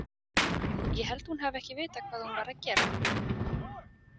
Ég held hún hafi ekki vitað hvað hún var að gera.